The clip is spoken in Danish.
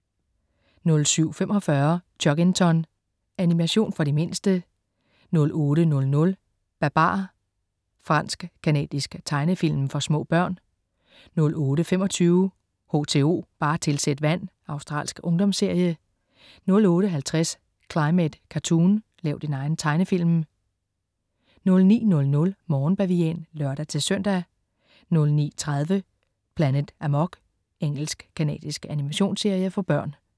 07.45 Chuggington. Animation for de mindste 08.00 Babar. Fransk-canadisk tegnefilm for små børn 08.25 H2O, bare tilsæt vand. Australsk ungdomsserie 08.50 Climate Cartoon, lav din egen tegnefilm 09.00 Morgenbavian (lør-søn) 09.30 Planet Amok. Engelsk-canadisk animationsserie for børn